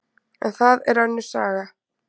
En það er önnur saga.